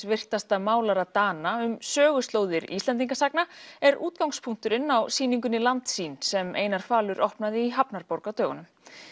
virtasta málara Dana um söguslóðir Íslendingasagna er útgangspunkturinn á sýningunni Landsýn sem Einar falur opnaði í hafnarborg á dögunum